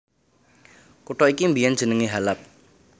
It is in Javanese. Kutha iki biyèn jenengé Halab